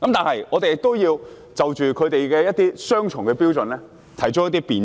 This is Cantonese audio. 此外，我們也要就着他們的雙重標準提出辯斥。